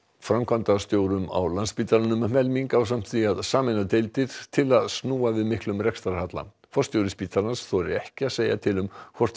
framkvæmdastjórum á Landspítalanum um helming ásamt því að sameina deildir til að snúa við miklum rekstrarhalla forstjóri spítalans þorir ekki að segja til um hvort